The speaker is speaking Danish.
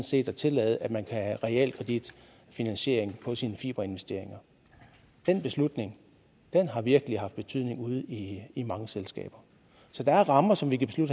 set at tillade at man kan have realkreditfinansiering af sine fiberinvesteringer den beslutning har virkelig haft betydning ude i i mange selskaber så der er rammer som vi kan